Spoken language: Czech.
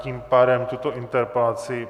Tím pádem tuto interpelaci...